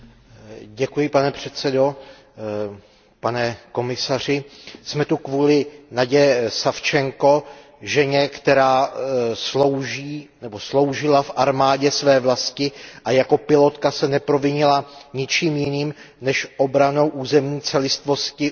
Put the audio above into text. Pane předsedající, pane komisaři, jsme tu kvůli Nadije Savčenkové, ženě, která sloužila v armádě své vlasti a jako pilotka se neprovinila ničím jiným než obranou územní celistvosti Ukrajiny.